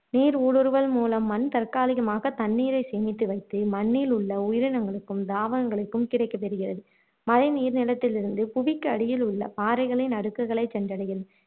நீர் ஊடுருவல் மூலம் மண் தற்காலிகமாக தண்ணீரை சேமித்து வைத்து மண்ணில் உள்ள உயிரினங்களுக்கும் தாவரங்களுக்கும் கிடைக்கச தெரிகிறது மழைநீர் நிலத்திலிருந்து புவிக்கு அடியில் உள்ள பாறைகளின் அடுக்குகளை சென்றடைகிறது